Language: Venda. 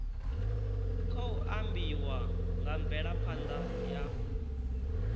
khou ambiwa nga mvelaphanḓa ya